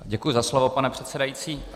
Děkuji za slovo, pane předsedající.